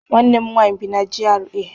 Nwanne m nwaanyị bi na GRA.